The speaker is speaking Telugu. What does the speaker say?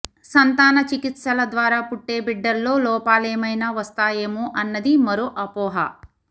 సంతాన చికిత్సల ద్వారా పుట్టే బిడ్డల్లో లోపాలేమైనా వస్తాయేమో అన్నది మరో అపోహ